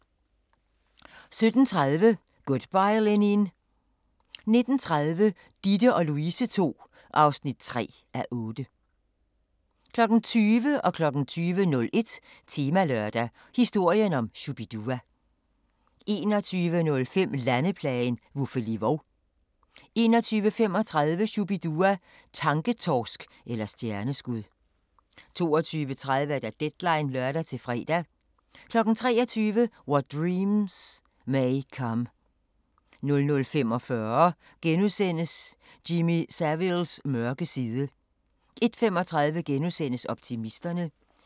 17:30: Good Bye Lenin! 19:30: Ditte & Louise ll (3:8) 20:00: Temalørdag: Historien om Shu-bi-dua 20:01: Temalørdag: Historien om Shu-bi-dua 21:05: Landeplagen – Vuffeli Vov 21:35: Shu-bi-dua – tanketorsk eller stjerneskud 22:30: Deadline (lør-fre) 23:00: What Dreams May Come 00:45: Jimmy Saviles mørke side * 01:35: Optimisterne *